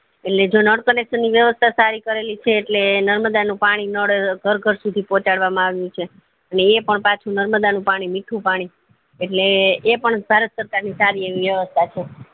એટલે જો નળ connection ની વ્યવસ્તા સારી કરેલી છે એટલે નર્મદા નનું પાણી ઘર ઘર સુઉધી પહોચાડવા માં આવ્યું છે ને એ પણ નર્મદા નું મીઠું પાણી એટલે એ પણ ભારત સરકાર ની સારી એવી વ્યવસ્થા છે